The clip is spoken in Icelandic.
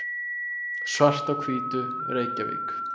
Svart á Hvítu, Reykjavík.